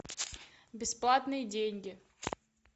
бесплатные деньги